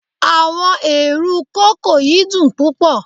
Awọn eerun koko yi dun pupọ